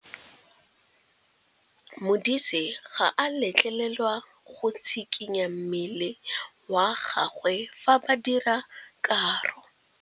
Modise ga a letlelelwa go tshikinya mmele wa gagwe fa ba dira karô.